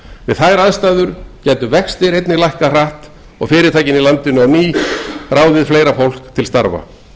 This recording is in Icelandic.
við þær aðstæður gætu vextir lækkað hratt og fyrirtækin í landinu á ný ráðið fleira fólk til starfa